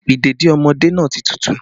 Ìdèdí ọmọdé náà ti tútù